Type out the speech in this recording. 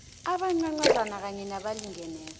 abancancazana kanye nabalingeneko